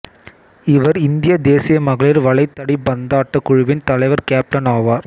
இவர் இந்தியத் தேசிய மகளிர் வளைதடிபந்தாட்டக் குழுவின் தலைவர் கேப்டன் ஆவார்